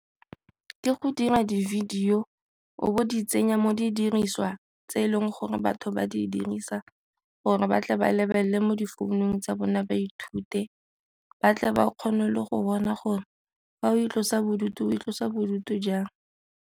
Ke go dira di-video o bo di tsenya mo di diriswa tse e leng gore batho ba di dirisa gore ba tle ba lebelele mo difounung tsa bone ba ithute, ba tle ba kgone le go bona gore fa o itlosa bodutu itlosa bodutu jang.